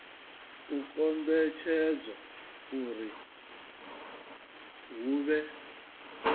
u kombetshedza uri hu vhe